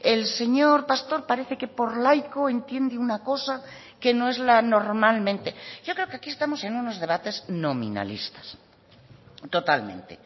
el señor pastor parece que por laico entiende una cosa que no es la normalmente yo creo que aquí estamos en unos debates nominalistas totalmente